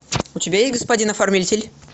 у тебя есть господин оформитель